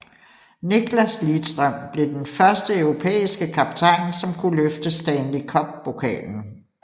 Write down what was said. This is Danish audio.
Nicklas Lidström blev den første europæiske kaptajn som kunne løfte Stanley Cup pokalen